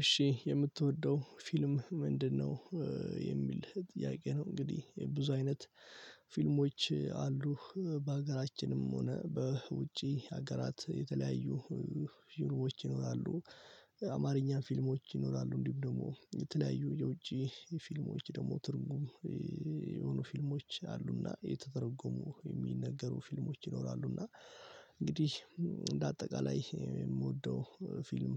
እሺ የምትወደው ፊልም ምንድነው? የሚል ጥያቄ ነው እንግዲህ ብዙ አይነት ፊልሞች አሉ በሀገራችንም ሆነ በውጪ ሀገራት የተለያዩ ፊልሞች ይኖራሉ። አማርኛ ፊልሞች ይኖራሉ እንዲሁም ደግሞ የተለያዩ የውጪ ፊልሞች ደግሞ ትርጉም የሆኑ ፊልሞች አሉና የተተረጎሙ የሚነገሩ ፊልሞች ይኖራሉና። እንግዲህ እንደአጠቃላይ የምወደው ፊልም።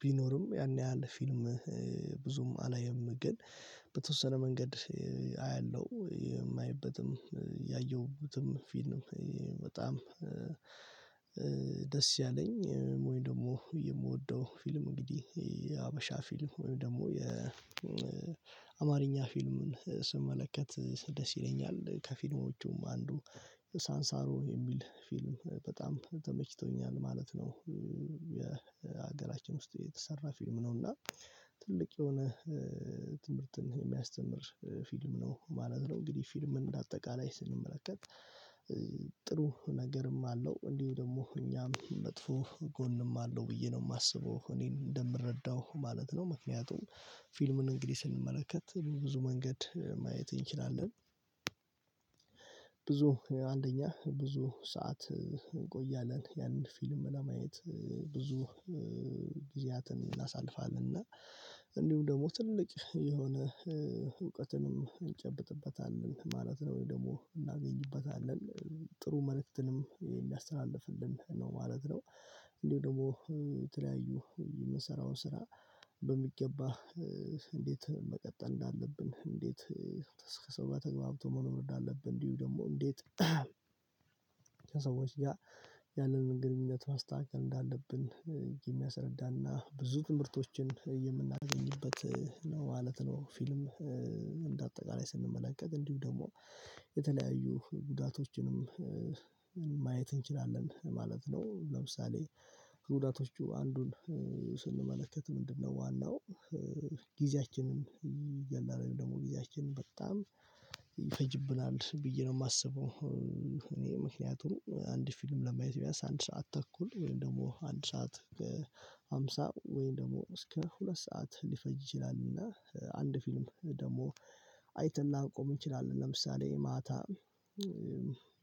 ቢኖርም ያን ያህል ፊልም ብዙም አላይም። ግን በተወሰነ መንገድ አያለሁ። የማይበትም ያየሁትም ፊልም በጣም ደስ ያለኝ ወይም ደግሞ የምወደው ፊልም እንግዲህ የሀበሻ ፊልም ወይም ደግሞ የአማርኛ ፊልምን ስመለከት ደስ ይለኛል። ከፊልሞቹም አንዱ ሳንሳሮ የሚል ፊልም በጣም ተመችቶኛል ማለት ነው። የ ውስጥ የተሰራ ፊልም ነው። እና ትልቅ የሆነ ትምህርትን የሚያስተምር ፊልም ነው ማለት ነው። እንግዲህ ፊልምን እንደ አጠቃላይ ስንመለከት። ጥሩ ነገርም አለው እንዲሁ ደግሞ እኛም መጥፎ ጎንም አለው ብዬ ነው የማስበው እኔ እንደምረዳው ማለት ነው። ምክንያቱም ፊልሙን እንግዲህ ስንመለከት ብዙ መንገድ ማየት እንችላለን። ብዙ አንደኛ ብዙ ሰዓት እንቆያለን ያንን ፊልም ለማየት ብዙ ጊዜያትን እናሳልፋለን። እና እንዲሁ ደግሞ ትልቅ የሆነ እውቀትንም እንጨብጥበታለን ማለት ነው ወይ ደግሞ እናገኝበታለን ጥሩ መልእክትንም ሊያስተላልፍልን ነው ማለት ነው። እንዲሁ ደግሞ የተለያዩ የምንሰራው ስራ በሚገባ እንዴት መቀጠል እንዳለብን እንዴት ከሰው ጋር ተግባብቶ መሆር እንዳለብን እንዲሁ ደግሞ እንዴት ከሰዎች ጋር ያለንን ግንኙነት ማስተካከል እንዳለብን የሚያስረዳ እና ብዙ ትምህርቶችን የምናገኝበት ነው ማለት ነው። ፊልም እንደ አጠቃላይ ስንመለከት እንዲሁ ደግሞ የተለያዩ ጉዳቶችንም ማየት እንችላለን ማለት ነው። ለምሳሌ ከጉዳቶቹ አንዱን ስንመለከት ምንድነው? ዋናው ጊዜያችንን ይገላል ወይም ደግሞ ጊዜያችንን በጣም ይፈጅብናል ብዬ ነው የማስበው። እኔ ምክንያቱም አንድ ፊልም ለማየት ቢያንስ አንድ ሰዓት ተኩል ወይም ደግሞ አንድ ሰዓት ከሃምሳ ወይም ደግሞ እስከ ሁለት ሰዓት ሊፈጅ ይችላል። እና አንድ ፊልም ደግሞ አይተን ላንቆም እንችላለን። ለምሳሌ ማታ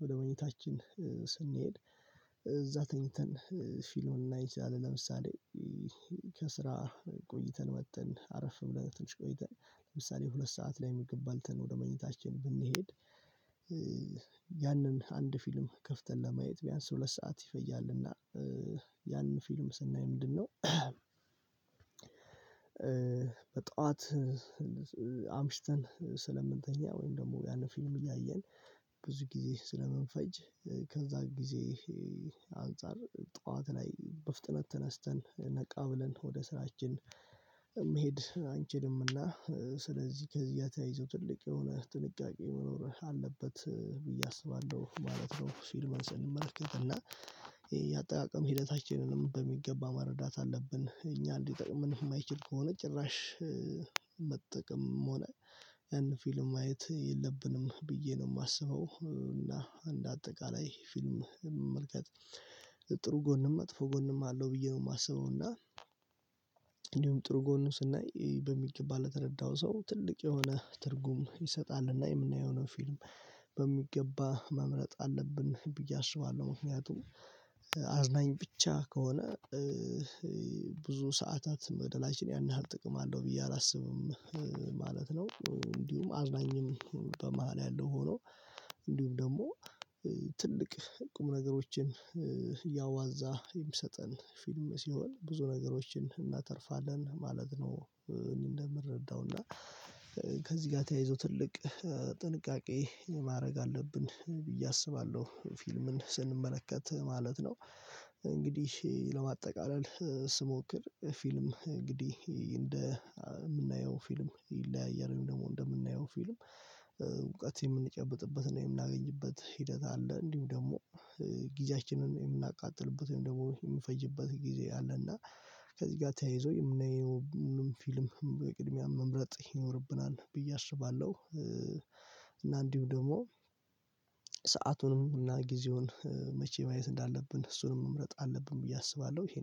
ወደ መኝታችን ስንሄድ እዛ ተኝተን ፊልም ልናይ እንችላለን። ለምሳሌ ከስራ ቆይተን መጥተን አረፍ ብለን ትንሽ ቆይተን ለምሳሌ ሁለት ሰዓት ላይ ምግብ በልተን ወደ መኝታችን ብንሄድ። ያንን አንድ ፊልም ከፍተን ለማየት ቢያንስ ሁለት ሰዓት ይፈጃልና ያንን ፊልም ስናይ ምንድነው? በጧት አምሽተን ስለምንተኛ ወይም ደግሞ ያንን ፊልም እያየን ብዙ ጊዜ ስለምንፈጅ ከዛ ጊዜ አንፃር ጠዋት ላይ በፍጥነት ተነስተን ነቃ ብለን ወደ ስራችን መሄድ አንችልምና። ስለዚህ ከዚያ ተያይዞ ትልቅ የሆነ ጥንቃቄ መኖር አለበት ብዬ አስባለሁ ማለት ነው። ፊልም ስንመለከት እና የአጠቃቀም ሂደታችንንም በሚገባ መረዳት አለብን እኛን ሊጠቅመን የማይችል ከሆነ ጭራሽ መጠቀምም ሆነ ያን ፊልም ማየት የለብንም ብዬ ነው የማስበው። እና እንደ አጠቃላይ ፊልም መመልከት ጥሩ ጎንም መጥፎ ጎንም አለው ብዬ ነው የማስበው። እና እንዲሁም ጥሩ ጎን ስናይ በሚገባ ለተረዳው ሰው ትልቅ የሆነ ትርጉም ይሰጣልና። የምናየው ነው ፊልም በሚገባ መምረጥ አለብን ብዬ አስባለሁ። ምክንያቱም አዝናኝ ብቻ ከሆነ ሰዓታት መግደላችን ያን ያህል ጥቅም አለው ብዬ አላስብም ማለት ነው። እንዲሁም አዝናኝም በመሃል ያለው ሆኖ እንዲሁም ደግሞ ትልቅ ቁም ነገሮችን እያዋዛ የሚሰጠን ፊልም ሲሆን ብዙ ነገሮችን እናተርፋለን ማለት ነው። እኔ እንደምረዳው እና ከዚህ ጋር ተያይዞ ትልቅ ጥንቃቄ ማድረግ አለብን ብዬ አስባለሁ። ፊልምን ስንመለከት ማለት ነው። እንግዲህ ለማጠቃለል ስሞክር ፊልም እንግዲህ እንደ የምናየው ፊልም ይለያያል ወይም ደግሞ እንደምናየው ፊልም እውቀት የምንጨብጥበት እና የምናገኝበት ሂደት አለ። እንዲሁ ደግሞ ጊዜያችንን የምናቃጥልበት ወይም ደግሞ የምንፈጅበት ጊዜ አለ። እና ከዚህ ጋር ተያይዞ የምናየው ምንም ፊልም በቅድሚያ መምረጥ ይኖርብናል ብዬ አስባለሁ። እና እንዲሁ ደግሞ ሰአቱንም እና ጊዜውን መቼ ማየት እንዳለብን እሱንም መምረጥ አለብን ብዬ አስባለሁ። ይሄ